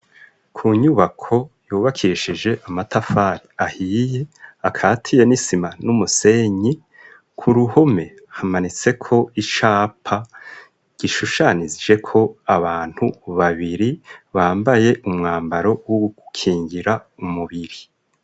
Ku nyubako yubakishije amatafari ahiye akatiye n'isima n'umusenyi ku ruhome hamanitse ko ichapa gishushanije ko abantu babiri bambaye umwambaro wokingira umubiri.